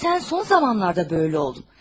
Sən son zamanlarda belə oldun.